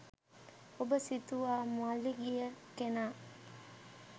ඔබ සිතුවා මළගිය කෙනා